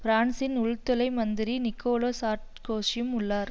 பிரான்சின் உள்துறை மந்திரி நிக்கோலா சார்க்கோசியும் உள்ளார்